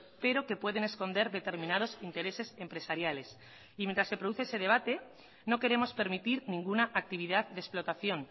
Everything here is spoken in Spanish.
pero que pueden esconder determinados intereses empresariales y mientras se produce ese debate no queremos permitir ninguna actividad de explotación